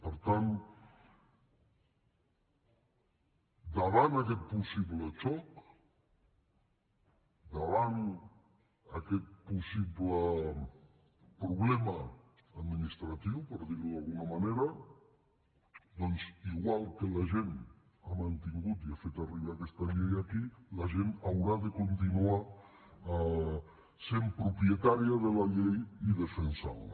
per tant davant aquest possible xoc davant aquest possible problema administratiu per dir ho d’alguna manera doncs igual que la gent ha mantingut i ha fet arribar aquesta llei aquí la gent haurà de continuar sent propietària de la llei i defensant la